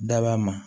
Daba ma